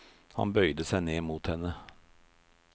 Han bøyde seg ned mot henne.